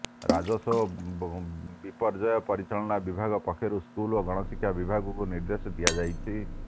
ରାଜସ୍ୱ ଓ ବିପର୍ଯ୍ୟୟ ପରିଚାଳନା ବିଭାଗ ପକ୍ଷରୁ ସ୍କୁଲ ଓ ଗଣଶିକ୍ଷା ବିଭାଗକୁ ନିର୍ଦ୍ଦେଶ ଦିଆଯାଇଛି